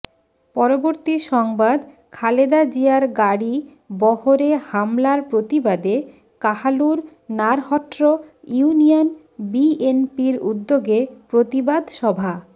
পরবর্তী সংবাদ খালেদা জিয়ার গাড়ী বহরে হামলার প্রতিবাদে কাহালুর নারহট্র ইউনিয়ন বিএনপির উদ্যোগে প্রতিবাদ সভা